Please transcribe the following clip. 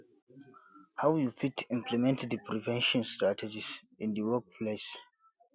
how you fit implement di prevention strategies in di workplace